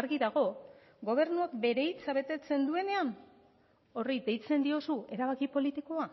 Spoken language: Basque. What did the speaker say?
argi dago gobernuak bere hitza betetzen duenean horri deitzen diozu erabaki politikoa